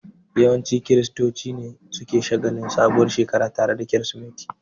Yawancin kiristoci ne suke shagalin sabuwar Shekara tare da bikin kirismeti